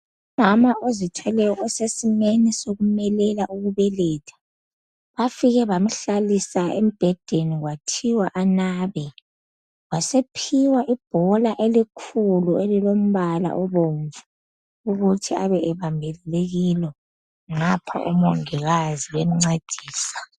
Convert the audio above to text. Umama ozithweleyo osesimeni sokumelela ukubeletha . Bafike bamhlalisa embhedeni kwathiwa anabe . Wasephiwa ibhola elikhulu elilombala obomvu ukuthi abe ebambelele kilo ngapha omongikazi bemncedisa.